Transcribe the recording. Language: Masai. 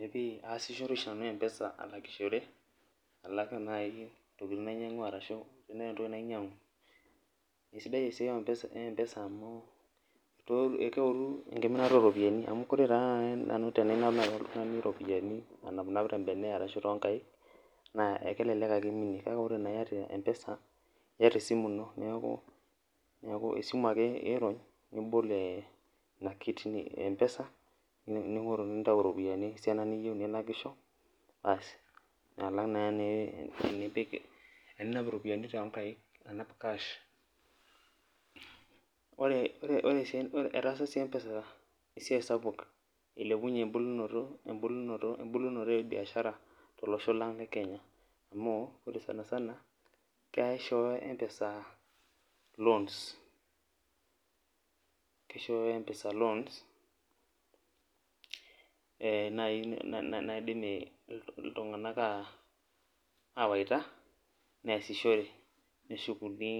Ee pii aasishore oshinanu mpesa alakishore alak nai ntokitin nainyangua ashu tenetii nai entoki nainyangu, kesidai eaiai empesa amu keoru enkiminata oropiyanibamu ore nai nanu tananapinap ropiyani tembene ashu tonkaik na kelelek ake iminie kakeore iata mpesa iyata esimu ino neaku esimu ake ingor nibol empesa nintau ropiyani esiana niyieu nilakisho aas alang na tenepik irpiyani tonkaik anap cash ore esiai etaasa si mpesa esiaai sapuk ilepunye embulunoto e biashara tolosho lang lekenya amu ore sanisana kishooyo empesa loans kishooyo empesa loans[vs] naibnaidim ltunganak awaita neasishore neshukuni